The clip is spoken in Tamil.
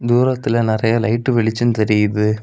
தூரத்தில நெறய லைட் வெளிச்சம் தெரியுது.